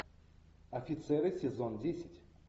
офицеры сезон десять